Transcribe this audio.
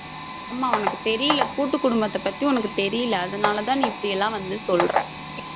ஆமா உனக்கு தெரியல கூட்டு குடும்பத்த பத்தி உனக்கு தெரியல அதனாலதான் நீ இப்படி எல்லாம் வந்து சொல்ற